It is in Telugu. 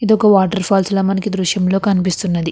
ఇది ఒక వాటర్ ఫాల్స్ లో మనకి దృశ్యంలో కనిపిస్తున్నది.